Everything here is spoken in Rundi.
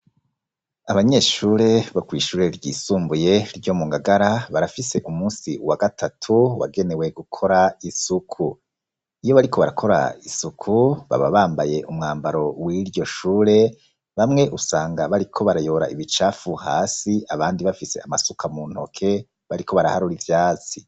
Abanyeshure bo kwishure ry'isumbuye, ryo mu ngagara barafise umunsi wa gatatu wagenewe gukora isuku, iyo bariko barakora isuku baba bambaye umwambaro w'iryoshure bamwe usanga bariko barayora ibicafu hasi abandi bafise amasuka mu ntoke bariko baraharura ivyatsi.